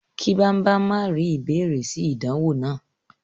Ki Bambam ma ri ìbéèrè si ìdánwò náà.